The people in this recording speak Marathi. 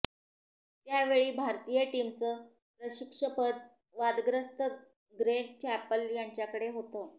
त्यावेळी भारतीय टीमचं प्रशिक्षकपद वादग्रस्त ग्रेग चॅपेल यांच्याकडे होतं